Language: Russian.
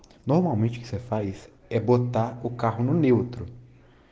но мучаться фариз обладает указанными утру